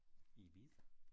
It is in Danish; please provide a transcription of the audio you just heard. I Ibiza